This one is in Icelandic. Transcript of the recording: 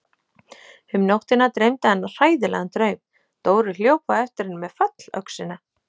Um nóttina dreymdi hana hræðilegan draum: Dóri hljóp á eftir henni með fallöxina.